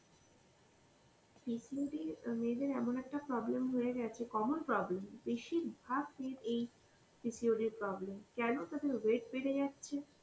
PCODমেয়েদের এমন একটা problem হয়ে গেছে, common problem. বেশিরভাগ মেয়ের এই PCODএর problem. কেন তাদের weight বেড়ে যাচ্ছে,